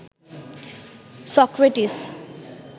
Socrates